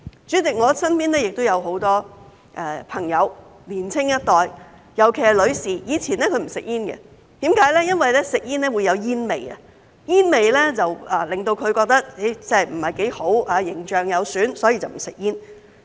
主席，我身邊亦有很多朋友、年青一代，尤其是女士，以前她不吸煙，因為吸煙會有煙味，她覺得不太好、有損形象，所以不吸煙。